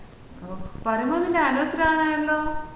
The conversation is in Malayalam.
പറയുമ്പോലെ ഇന്റെ anniversary ആകാൻ ആയല്ലോ